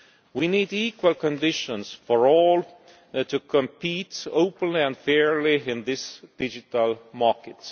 out. We need equal conditions for all to compete openly and fairly in this digital market.